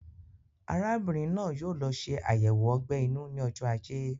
Arábìnrin náà yóò lọ ṣe ayẹwo ogbè inú ní ojó ajé